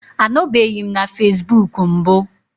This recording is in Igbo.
Anọbeghị m na facebook mbụ